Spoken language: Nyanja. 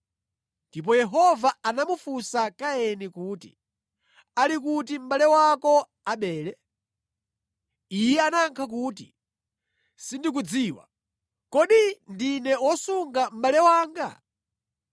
Ndipo Yehova anamufunsa Kaini kuti, “Ali kuti mʼbale wako Abele?” Iye anayankha kuti, “Sindikudziwa. Kodi ine ndine wosunga mʼbale wanga?”